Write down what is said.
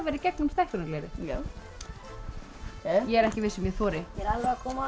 í gegnum stækkunarglerið já ég er ekki viss um ég þori ég er alveg að koma